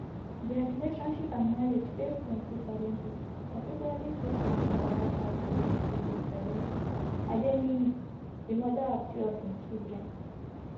dia relationship and marriage face plenty challenges particularly sake of twobaba past relationship wit pero adeniyi di mother of three of im children